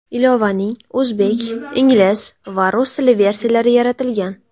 Ilovaning o‘zbek, ingliz va rus tilli versiyalari yaratilgan.